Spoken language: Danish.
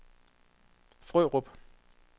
Frørup